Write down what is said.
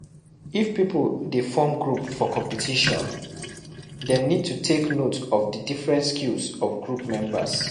If pipo dey form group for competition, dem need to take note of di different skills of group members